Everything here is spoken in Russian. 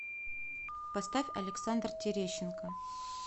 поставь александр терещенко